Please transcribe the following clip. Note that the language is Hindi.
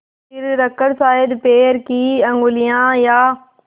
सिर रखकर शायद पैर की उँगलियाँ या